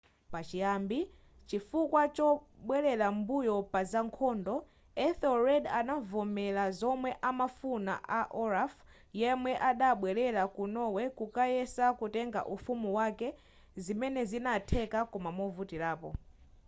pachiyambi chifukwa chobwelera m'mbuyo paza nkhondo ethelred adavomera zomwe amafuna a olaf yemwe adabwelera ku norway kukayesa kutenga ufumu wake zimene zinatheka koma movutirapo